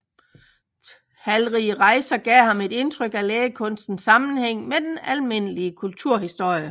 Talrige rejser gav ham et indtryk af lægekunstens sammenhæng med den almindelige kulturhistorie